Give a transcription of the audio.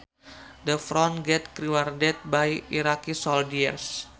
The front gate guarded by Iraqi soldiers